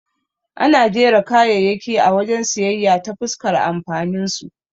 Ana jera kayayyaki a wajen siyayya ta fuskar amfaninsu.